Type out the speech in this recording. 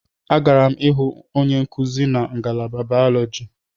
Agara m ịhụ onye nkuzi na ngalaba Bayọlọji.